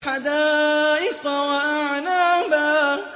حَدَائِقَ وَأَعْنَابًا